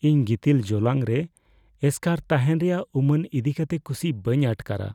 ᱤᱧ ᱜᱤᱛᱤᱞ ᱡᱚᱞᱟᱝ ᱨᱮ ᱮᱥᱠᱟᱨ ᱛᱟᱦᱮᱱ ᱨᱮᱭᱟᱜ ᱩᱢᱟᱹᱱ ᱤᱫᱤᱠᱟᱛᱮ ᱠᱩᱥᱤ ᱵᱟᱹᱧ ᱟᱴᱠᱟᱨᱟ ᱾